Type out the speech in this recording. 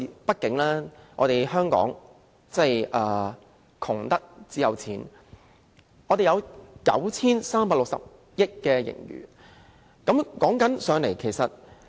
畢竟香港窮得只有錢，我們有 9,360 億元盈餘。